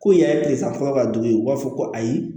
Ko in yɛrɛ ye kilesan fɔlɔ ka dugu ye u b'a fɔ ko ayi